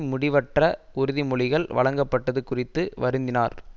முடிவற்ற உறுதி மொழிகள் வழங்கபட்டது குறித்து வருந்தினார்